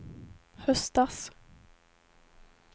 höstas